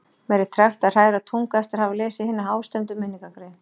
Mér er tregt að hræra tungu eftir að hafa lesið hina hástemmdu minningargrein